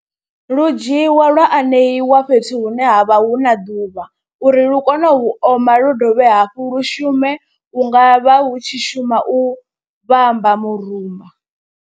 Lu dzhiiwa lwa aneiwa fhethu hune ha vha hu na ḓuvha uri lu kone u oma lu dovhe hafhu lu shume hu nga vha hu tshi shuma u vhamba murumba.